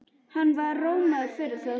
Hann var rómaður fyrir það.